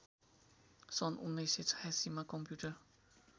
सन् १९८६मा कम्प्युटर